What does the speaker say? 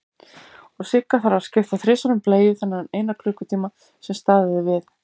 Og Sigga þarf að skipta þrisvar um bleiu þennan eina klukkutíma sem staðið er við.